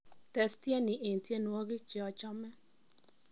tes tieni en tienywogik jeochome